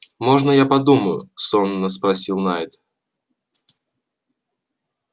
можно я подумаю сонно спросил найд